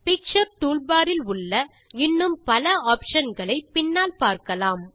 picture toolbar இல் உள்ள இன்னும் பல ஆப்ஷன் களை பின்னால் பார்க்கலாம்